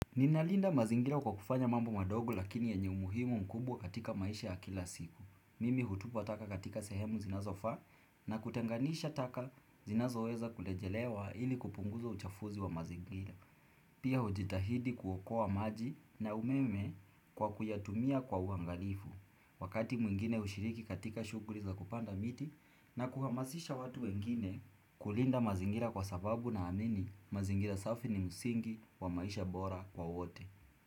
Ninalinda mazingira kwa kufanya mambo madogo lakini yenye umuhimu mkubwa katika maisha ya kila siku. Mimi hutupa taka katika sehemu zinazofaa na kutenganisha taka zinazo weza kulejelewa ili kupunguza uchafuzi wa mazingira. Pia hujitahidi kuokoa maji na umeme kwa kuyatumia kwa uangalifu Wakati mwingine hushiriki katika shukuli za kupanda miti na kuhamasisha watu wengine kulinda mazingira kwa sababu na amini mazingira safi ni msingi wa maisha bora kwa wote.